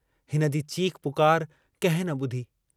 हिनजी चीख़ पुकार कंहिं न बुधी।